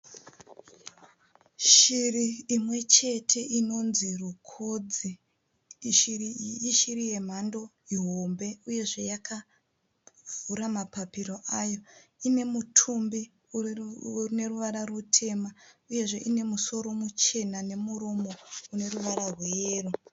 Shiri imwe chete inonzi rukodzi. Shiri iyi ishiri yemhando ihombe uyezve yakavhura mapapiro ayo. Inemutumbi uneruvara rutema uyezve unemusoro muchena nemuromo uneruvara rweyero.